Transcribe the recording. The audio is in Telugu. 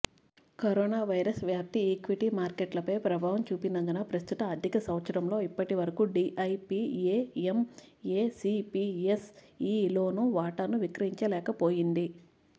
కరోనావైరస్ వ్యాప్తి ఈక్విటీ మార్కెట్లపై ప్రభావం చూపినందున ప్రస్తుత ఆర్థిక సంవత్సరంలో ఇప్పటివరకు డిఐపిఎఎం ఏ సిపిఎస్ఇలోనూ వాటాను విక్రయించలేకపోయింది